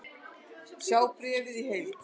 Sjá bréfið í heild